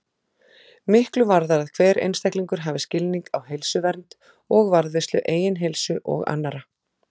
Miklu varðar að hver einstaklingur hafi skilning á heilsuvernd og varðveislu eigin heilsu og annarra.